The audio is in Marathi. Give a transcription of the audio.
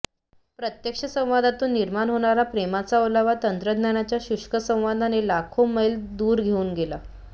प्रत्यक्ष संवादातून निर्माण होणारा प्रेमाचा ओलावा तंत्रज्ञानाच्या शुष्क संवादाने लाखो मैल दूर घेऊन गेला